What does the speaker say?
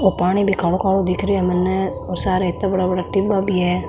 ओ पानी भी कालो कालो दिख रो है मैंने और सार इत्ता बड़ा बड़ा डिब्बा भी है।